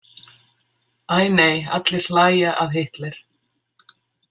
Æ nei Allir hlæja að Hitler.